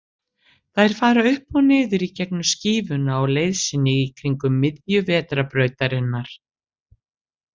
Þær fara upp og niður í gegnum skífuna á leið sinni í kringum miðju Vetrarbrautarinnar.